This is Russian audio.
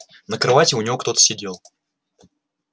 на кровати у него кто-то сидел